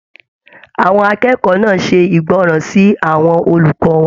Àwọn akẹ́kọ̀ọ́ náà ṣe ìgbọràn sí àwọn olùkọ wọn.